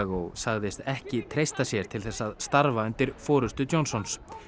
og segist ekki treysta sér ekki til þess að starfa undir forystu Johnsons